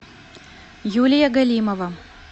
юлия галимова